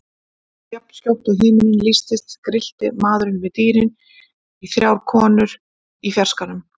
Jafnskjótt og himinninn lýstist grillti maðurinn við dýrin í þrjár konur í fjarskanum.